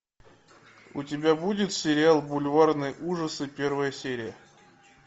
у тебя будет сериал бульварные ужасы первая серия